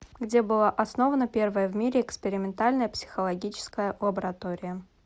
где была основана первая в мире экспериментальная психологическая лаборатория